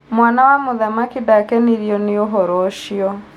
Mwana wa mũthamaki nda kenirio nĩ ũhoro ũcio